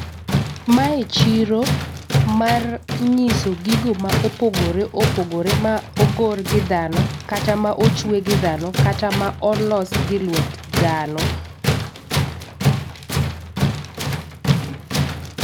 Mae chiro mar nyiso gigo ma opogore opogore ma ogor gi dhano kata ma ochwe gi dhano kata ma olos gi lwet dhano